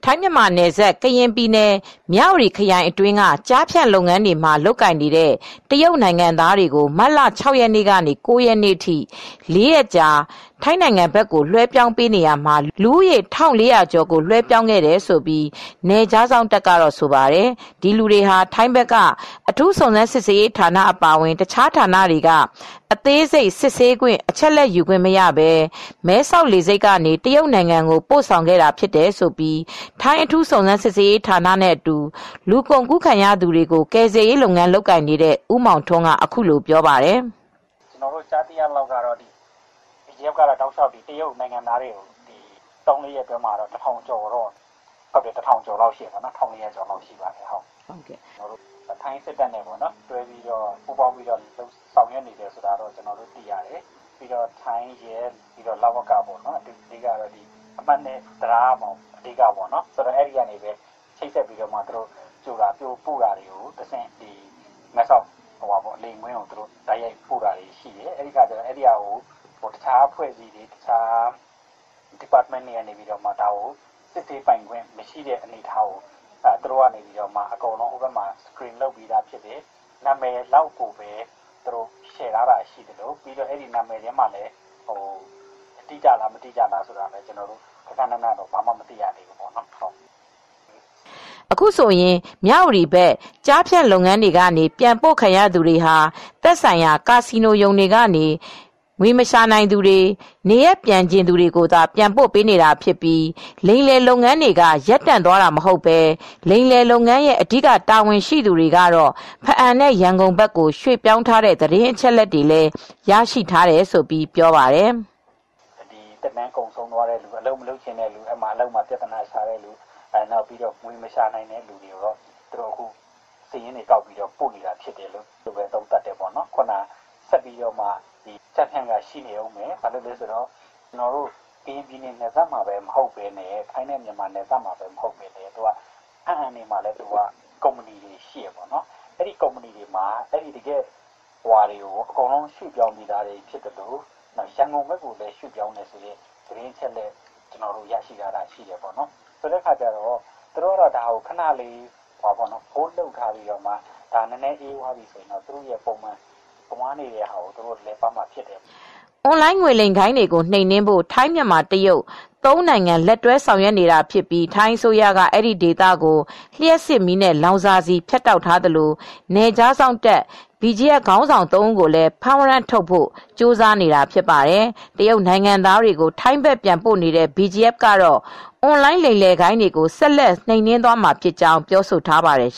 ထိုင်း-မြန်မာနယ်စပ်၊ ကရင်ပြည်နယ်၊ မြဝတီခရိုင်အတွင်းက ကျားဖြန့်လုပ်ငန်းတွေမှာ လုပ်ကိုင်နေတဲ့ တရုတ်နိုင်ငံသားတွေကို မတ်လ ၆ ရက်နေ့ကနေ ၉ ရက်အထိ ၄ ရက်အတွင်း ထိုင်းဘက်ကို လွဲပြောင်းပေးခဲ့ရာမှာ လူဦးရေ ၁,၄၀၀ကျော်ကို လွှဲပြောင်းခဲ့တယ်လို့ နယ်ခြားစောင့်တပ်က ဆိုပါတယ်။ ဒီလူတွေဟာ ထိုင်းဘက်က အထူးစုံစမ်းစစ်ဆေးရေးဌာန အပါအဝင် တခြားဌာနတွေက အသေးစိတ် စစ်ဆေးခွင့်၊ အချက်အလက်ယူခွင့်မရဘဲ မဲဆောက်လေဆိပ်ကနေ တရုတ်နိုင်ငံကို ပို့ဆောင်ခဲ့တာဖြစ်တယ်လို့ ထိုင်း အထူးစုံစမ်းစစ်ဆေးရေးဌာနနဲ့အတူ လူကုန်ကူးခံရသူတွေကို ကယ်ဆယ်ရေးလုပ်နေတဲ့ ဦးမောင်ထွန်းက ပြောပြပါတယ်။ “ကျနော်တို့ ကြားသိရသလောက်ကတော့ တရုတ်နိုင်ငံသားတွေကို သုံးရက်၊ လေးရက်အတွင်းမှာ ၁,၄၀၀ ကျော်ပို့လိုက်တယ်။ ထိုင်းစစ်တပ်နဲ့ ပူးပေါင်းပြီး ဆောင်ရွက်နေတာလို့ သိရတယ်။ ထိုင်းရဲတွေ၊ လဝကနဲ့ အမှတ် ၂ တံတားကနေ ကြိုပို့တာလုပ်တယ်။ မဲဆောက်လေယာဉ်ကွင်းကို တိုက်ရိုက်ပို့တယ်။ တခြားအဖွဲ့အစည်းတွေ၊ တခြား ဌာနဆိုင်ရာတွေကတော့ စစ်ဆေးပိုင်ခွင့်မရှိဘူး။ သူတို့ကတော့ ဟိုဘက်မှာ Screen လုပ်ပြီးသားဖြစ်တယ်။ နာမည်လောက်ပဲ Share လုပ်ပေးတယ်။ နာမည်ကလည်း တိကျ သေချာသလား၊ မသေချာလား ဂဃနဏတော့ မသိရဘူး။” အခုဆိုရင် မြဝတီဘက် ကျားဖြန့်လုပ်ငန်းတွေကနေ ပြန်ပို့ခံရသူတွေဟာ သက်ဆိုင်ရာ ကာစီနိုရုံတွေကနေ ငွေမရှာနိုင်သူတွေ၊ နေရပ်ပြန်ချင်သူတွေကိုသာ ပြန်ပို့ပေးနေတာဖြစ်ပြီး လိမ်လည်လုပ်ငန်းတွေက ရပ်တန့်သွားမှာမဟုတ်ဘဲ လိမ်လည်လုပ်ငန်းရဲ့ အဓိက တာဝန်ရှိသူတွေကတော့ ဘားအံနဲ့ ရန်ကုန်ဘက်ကို ရွှေ့ပြောင်းထားတဲ့ သတင်းအချက်အလက်တွေ ရရှိထားတယ်လို့လည်း ပြောပါတယ်။ “သက်တမ်း ကုန်ဆုံးသွားတဲ့သူတွေ၊ အလုပ်မလုပ်ချင်တဲ့သူတွေ၊ အလုပ်မှာ ပြဿနာရှာတဲ့သူတွေ၊ ငွေမရှာနိုင်တဲ့သူတွေကို စာရင်းကောက်ပြီး ပို့ပေးနေတာ ဖြစ်ပါတယ်။ ဆက်ပြီး ကျားဖြန့်လုပ်ငန်းက ဆက်ရှိနေဦးမယ်။ အခုက ထိုင်း-မြန်မာနယ်စပ် ကရင်နယ်စပ်မှာပဲ ရှိတာမဟုတ်ဘူး။ ဘားအံဘက်မှာလည်း ကုမ္ပဏီတွေ ရှိသေးတယ်။ အဲဒီ ကုမ္ပဏီတွေဘက်ကို အကုန်လုံး ရွှေ့ပြောင်းထားတာ ဖြစ်သလို ရန်ကုန်ဘက်ကိုလည်း ရွှေ့ပြောင်းနေတယ်လို့ကျနော်တို့ သတင်းအချက်အလက် ရထားတာရှိပါတယ်။ အခုကတော့ သူတို့က ခန ရပ်ထားတဲ့သဘောပဲ။ နောက် နည်းနည်း အေးသွားတာနဲ့ ပုံမှန်လည်ပတ်ဖို့ ဆက်လုပ်ဦးမှာဖြစ်တယ်။” အွန်လိုင်း ငွေလိမ်ဂိုဏ်းတွေကို နှိမ်နင်းဖို့ ထိုင်း- မြန်မာ-တရုတ် ၃ နိုင်ငံ လက်တွဲ ဆောင်ရွက်နေတာဖြစ်ပြီး ထိုင်းအစိုးရက အဲဒီဒေသကို လျှပ်စစ်မီးနဲ့ လောင်စာဆီ ဖြတ်တောက်ထားသလို နယ်ခြားစောင့်တပ် BGF ခေါင်းဆောင် ၃ ဦးကိုလည်း ဖမ်းဝရမ်းထုတ်ဖို့ ကြိုးစားနေတာဖြစ်ပါတယ်။ တရုတ်နိုင်ငံသားတွေကို ထိုင်းဘက်ပြန်ပို့နေတဲ့ BGF ကတော့ အွန်လိုင်း လိမ်လည်ဂိုဏ်းတွေကို ဆက်လက် နှိမ်နင်းသွားမှာဖြစ်ကြောင်း ပြောဆိုထားပါတယ်